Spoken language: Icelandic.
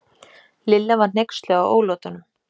Lilla var hneyksluð á ólátunum.